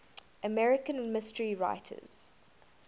american mystery writers